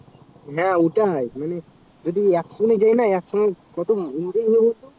হাঁ ওটাই মানে যদি একসঙ্গে যাই না একসঙ্গে কত enjoy হবে বলতো